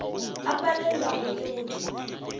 a palelwago ke go di